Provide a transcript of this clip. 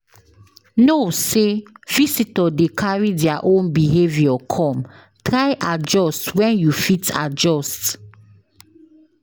know say visitor de carry their own behavior come try adjust when you fit adjust